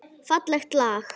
Fallegt lag.